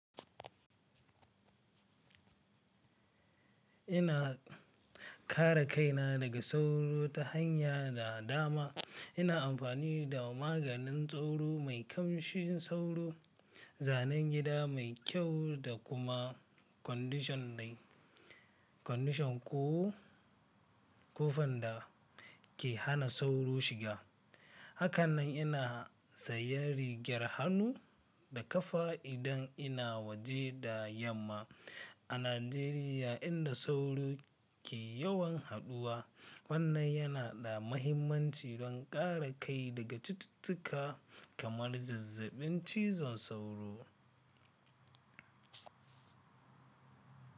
Ina kare kaina daga sauro ta hanya da dama. Ina amfani da maganin sauro mai ƙamshin sauro, zanen gida mai kyau da kuma kwandishan ƙofan da ke hana sauro shiga. Hakanan ina saye rigar hannu da kafa idan ina waje da yamma. A Najeriya inda sauro ke yawan haɗuwa, wannan yana da mahimmanci don kare kai daga cututtuka kamar zazzabin cizon sauro.